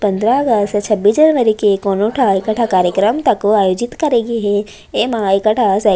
पंद्रह अगस्त अउ छब्बीस जनवरी के कोनो ठ एको ठ कार्यक्रम तको आयोजित करेगी हे एमा एको ठ स--